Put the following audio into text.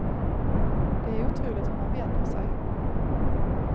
Det är otroligt hur man vänjer sig.